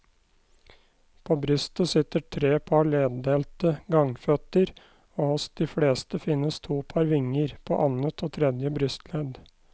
På brystet sitter tre par leddelte gangføtter og hos de fleste finnes to par vinger, på annet og tredje brystledd.